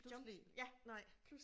Pludselig nej